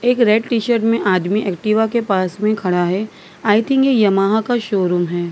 एक red t shirt में आदमी एक्टिवा के पास में खड़ा है आई थिंक ये यमाहा का शोरूम है।